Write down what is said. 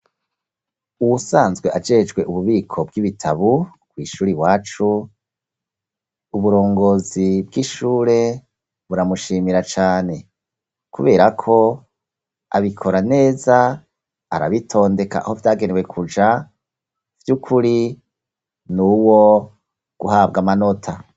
Uwusanzwe ajejwe ububiko bw'ibitabu kw' ishuri iwacu, uburongozi bw'ishure buramushimira cane. Kubera ko abikora neza, arabitondeka aho vyagenewe kuja vy'ukuri ni uwo guhabwa amanota.